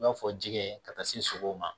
I b'a fɔ jɛgɛ ka taa se sogo ma